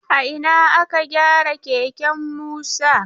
A ina aka gyara keken Musa?